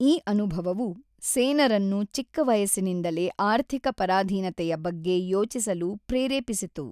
ಈ ಅನುಭವವು ಸೇನರನ್ನು ಚಿಕ್ಕ ವಯಸ್ಸಿನಿಂದಲೇ ಆರ್ಥಿಕ ಪರಾಧೀನತೆಯ ಬಗ್ಗೆ ಯೋಚಿಸಲು ಪ್ರೇರೇಪಿಸಿತು.